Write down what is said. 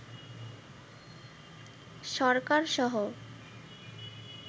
সরকারসহ